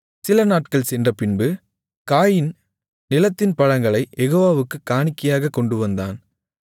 சிலநாட்கள் சென்றபின்பு காயீன் நிலத்தின் பழங்களைக் யெகோவாவுக்குக் காணிக்கையாகக் கொண்டுவந்தான்